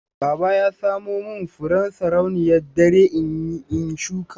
Baba ya samo min furen sarauniyar dare in shuka.